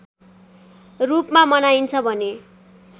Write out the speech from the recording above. रूपमा मनाइन्छ भने